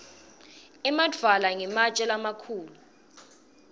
emadvwala ngematje lamakhulu